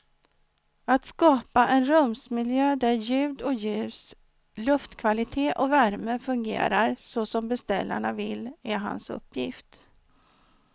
Att skapa en rumsmiljö där ljud och ljus, luftkvalitet och värme fungerar så som beställarna vill är hans uppgift.